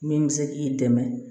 Min bɛ se k'i dɛmɛ